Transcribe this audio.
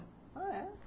Ah, é?